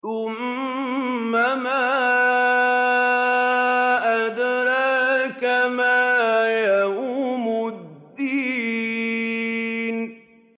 ثُمَّ مَا أَدْرَاكَ مَا يَوْمُ الدِّينِ